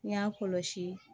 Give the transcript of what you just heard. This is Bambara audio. N'i y'a kɔlɔsi